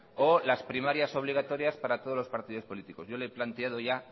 o las primarias obligatorias para todos los partidos políticos yo le he planteado ya